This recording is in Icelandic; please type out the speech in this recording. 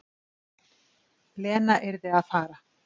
Lena yrði að fara.